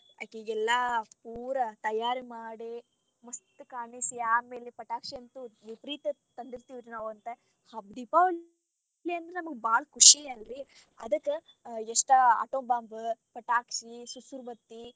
ಅಕೀಗೆಲ್ಲಾ ಪೂರಾ ತಯಾರ ಮಾಡೇ ಮಸ್ತ್ ಕಾಣಿಸಿ ಆಮೇಲೆ ಪಟಾಕ್ಷಿ ಅಂತು ಇಪರೀತ ತಂದಿರತೇವಿ ನಾವ ಅವತ್ತ ದೀಪಾವಳಿ ಅಂದ್ರ ನಮಗ ಬಾಳ ಖುಷಿ ಅದಕ್ಕ ಎಷ್ಟ atom bomb , ಪಟಾಕ್ಷಿ, ಸುರ್ ಸುರ್ ಬತ್ತಿ.